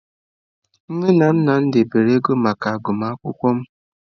Nne na nna m debere ego maka agụmakwụkwọ m.